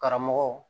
Karamɔgɔw